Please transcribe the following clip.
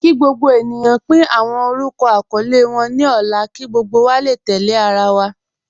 Kí gbogbo ènìyàn pín awọn orúkọ àkọọlẹ wọn ní ọ̀la kí gbogbo wa lè tẹ̀lẹ̀ àrà wa.